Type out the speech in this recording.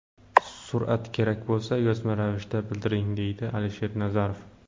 Surat kerak bo‘lsa, yozma ravishda bildiring, deydi Alisher Nazarov.